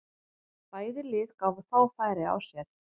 Bæði lið gáfu fá færi á sér.